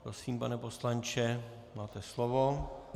Prosím, pane poslanče, máte slovo.